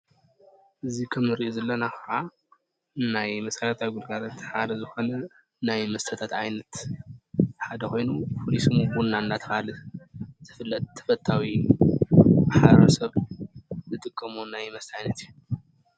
እዚ ንሪኦ ዘለና ከዓ ናይ መሰረታዊ ግልጋሎት ሓደ ዝኮነ ናይ መስተታት ሓደ ኮይኑ ፍሉይ ስሙ ቡና እናተበሃለ ዝፍለጥ ተፈታዊ ማሕበረሰብ ዝጥቀመሉ ናይ መስተ ዓይነት እዩ።